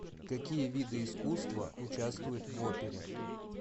какие виды искусства участвуют в опере